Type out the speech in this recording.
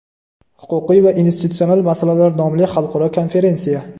Huquqiy va institutsional masalalar nomli xalqaro konferensiya.